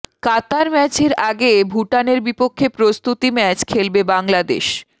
কাতার ম্যাচের আগে ভুটানের বিপক্ষে প্রস্তুতি ম্যাচ খেলবে বাংলাদেশ